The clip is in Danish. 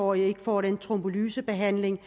og ikke får den trombolysebehandling